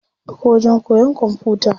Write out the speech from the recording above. Akwai wajen koyan kwamfuta.